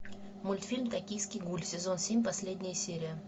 мультфильм токийский гуль сезон семь последняя серия